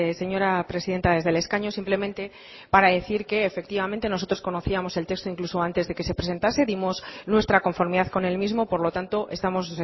señora presidenta desde el escaño simplemente para decir que efectivamente nosotros conocíamos el texto incluso antes de que se presentase dimos nuestra conformidad con el mismo por lo tanto estamos